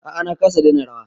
A'a na kasa daina rawa